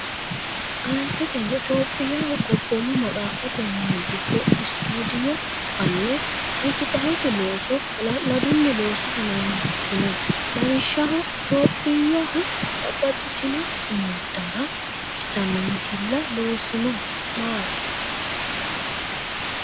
Aanteteno Itophiyaho Gobboomu Maxaaffate Mini giddo Istuudiyo fa’ne seesiqalote looso hala’ladunni loosa hanafino. Lawishshaho, Itophiyaho babbaxxitino sumuddara ikkitanno misilla loosino maati?